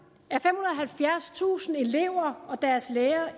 halvfjerdstusind elever og deres lærere